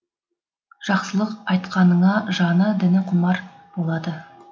жақсылық айтқаныңа жаны діні құмар болады